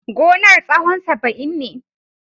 Gonar tsahon saba'in ne.